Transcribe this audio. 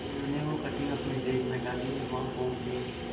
मीनू ने वो कटिंग अपने बैग में डाली और वहां पहुंच गए